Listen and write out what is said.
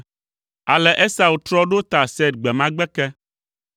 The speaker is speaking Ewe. Ale Esau trɔ ɖo ta Seir gbe ma gbe ke.